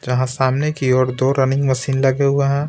जहां सामने की ओर दो रनिंग मशीन लगे हुए हैं.